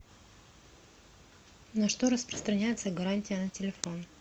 на что распространяется гарантия на телефон